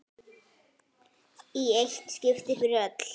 Í eitt skipti fyrir öll!